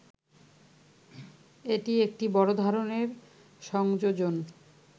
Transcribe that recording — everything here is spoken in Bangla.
এটি একটি বড় ধরনের সংযোজন